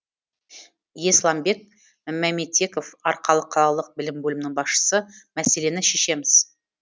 есламбек мәметеков арқалық қалалық білім бөлімінің басшысы мәселені шешеміз